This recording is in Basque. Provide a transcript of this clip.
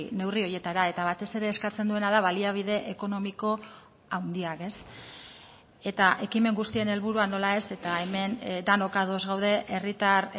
neurri horietara eta batez ere eskatzen duena da baliabide ekonomiko handiak eta ekimen guztien helburua nola ez eta hemen denok ados gaude herritar